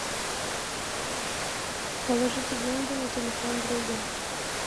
положите деньги на телефон друга